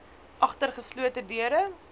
agter geslote deure